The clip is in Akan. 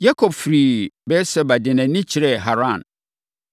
Yakob firii Beer-Seba de nʼani kyerɛɛ Haran.